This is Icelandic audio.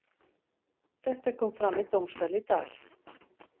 Þetta kom fram í dómssal í dag.